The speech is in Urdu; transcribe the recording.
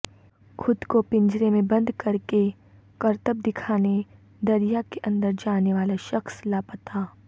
خود کو پنجرے میں بند کر کے کرتب دکھانے دریا کے اندر جانیوالا شخص لاپتہ